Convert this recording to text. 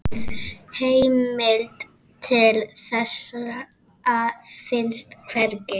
Heimild til þessa finnst hvergi.